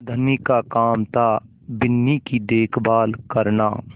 धनी का काम थाबिन्नी की देखभाल करना